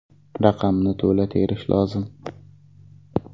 Raqamni to‘la terish lozim.